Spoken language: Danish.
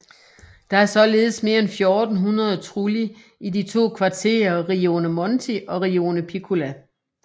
Der er således mere end 1400 trulli i de to kvarterer Rione Monti og Rione Piccola